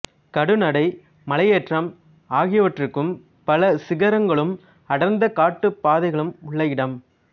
கடுநடை மலையேற்றம் ஆகியவற்றுக்கும் பல சிகரங்களும் அடர்ந்த காட்டுப் பாதைகளும் உள்ள இடம்